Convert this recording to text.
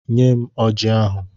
Nyem Ọji ahụ!